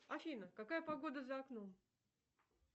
афина какая погода за окном